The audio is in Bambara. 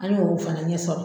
An ye o fana ɲɛ sɔrɔ.